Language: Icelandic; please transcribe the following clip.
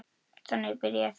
Þannig byrjaði það.